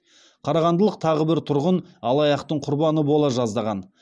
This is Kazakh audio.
қарағандылық тағы бір тұрғын алаяқтықтың құрбаны бола жаздаған